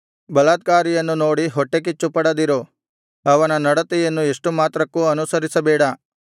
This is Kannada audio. ಬಲಾತ್ಕಾರಿಯನ್ನು ನೋಡಿ ಹೊಟ್ಟೆಕಿಚ್ಚುಪಡದಿರು ಅವನ ನಡತೆಯನ್ನು ಎಷ್ಟು ಮಾತ್ರಕ್ಕೂ ಅನುಸರಿಸಬೇಡ